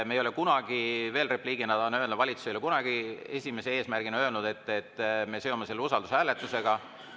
Me ei ole kunagi – veel repliigina tahan öelda –, valitsus ei ole kunagi öelnud, et esimese eesmärgina me seome selle usaldushääletusega.